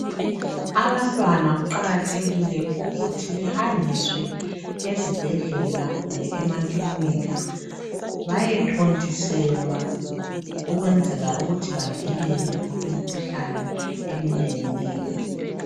Abantwana kuqakathekile ukuthi behanjiswe ezibhedlela kumbe emaclinika. Bayethontiselwa ukwenzela ukuthi bavikele imikhuhlane eminenginengi.